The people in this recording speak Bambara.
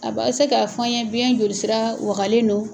Aba se k'a fɔ an ye biyɛn jolisira wagalen don.